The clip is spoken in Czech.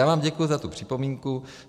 Já vám děkuji za tu připomínku.